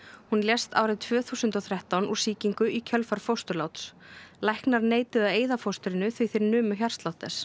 hún lést árið tvö þúsund og þrettán úr sýkingu í kjölfar fósturláts læknar neituðu að eyða fóstrinu því þeir numu hjartslátt þess